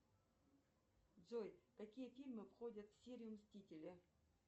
джой какие фильмы входят в серию мстителя